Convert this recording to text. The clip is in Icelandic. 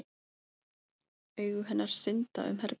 Augu hennar synda um herbergið.